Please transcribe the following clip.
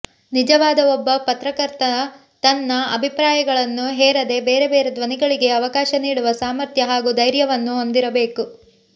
ನಿಜವಾದ ಒಬ್ಬ ಪತ್ರಕರ್ತ ತನ್ನ ಅಭಿಪ್ರಾಯಗಳನ್ನು ಹೇರದೇ ಬೇರೆ ಬೇರೆ ಧ್ವನಿಗಳಿಗೆ ಅವಕಾಶ ನೀಡುವ ಸಾಮರ್ಥ್ಯ ಹಾಗೂ ದೈರ್ಯವನ್ನು ಹೊಂದಿರಬೇಕು